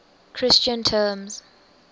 christian terms